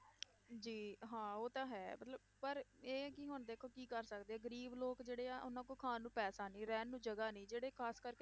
ਜੀ ਹਾਂ ਉਹ ਤਾਂ ਹੈ ਮਤਲਬ ਪਰ ਇਹ ਕਿ ਹੁਣ ਦੇਖੋ ਕੀ ਕਰ ਸਕਦੇ ਆ, ਗ਼ਰੀਬ ਲੋਕ ਜਿਹੜੇ ਆ, ਉਹਨਾਂ ਕੋਲ ਖਾਣ ਨੂੰ ਪੈਸਾ ਨੀ ਰਹਿਣ ਨੂੰ ਜਗ੍ਹਾ ਨੀ, ਜਿਹੜੇ ਖ਼ਾਸ ਕਰਕੇ